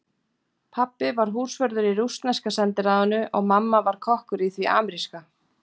Pabbi var húsvörður í rússneska sendiráðinu og mamma var kokkur í því ameríska.